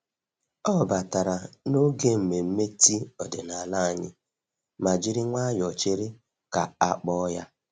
Ọ batara n'oge nmenme tii ọdịnala anyị ma jiri nwayọọ chere ka a kpọọ ya.